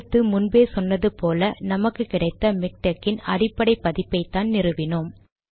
அடுத்து முன்பே சொன்னதை போல நமக்கு கிடைத்த மிக்டெக் இன் அடிப்படை பதிப்பைதான் நிறுவினோம்